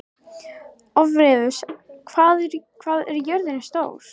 Orfeus, hvað er jörðin stór?